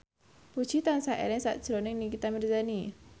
Puji tansah eling sakjroning Nikita Mirzani